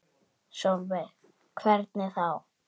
Sólveig: Hvernig þá?